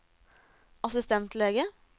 assistentlege